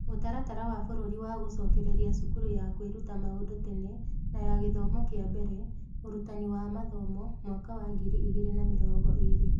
Mũtaratara wa Bũrũri wa Gũcokereria Cukuru ya Kwĩruta Maũndũ Tene na ya Gĩthomo kĩa Mbere, Ũrutani wa Mathomo (Mwaka wa Ngiri Igĩrĩ na Mĩrongo Ĩĩrĩ).